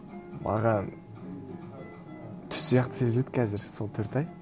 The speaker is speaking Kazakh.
маған түс сияқты сезіледі қазір сол төрт ай